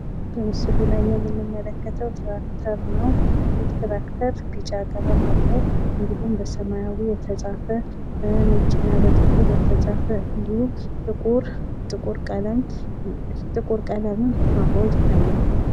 በምስሉ ላይ የምንመለክተው ትራክተር ነው። ይህ ትራክተር ቢጫ ቀለም አለው እንዲሁም በሰማያዊ የተጻፈ በነጭ እና በጥቈር የተጻፈ እንዲሁም እንዲሁም ጥቁር ጥቁር ቀለምም አብሮ ይታያል።